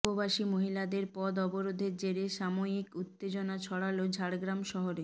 উপবাসী মহিলাদের পথ অবরোধের জেরে সাময়িক উত্তেজনা ছড়ালো ঝাড়গ্রাম শহরে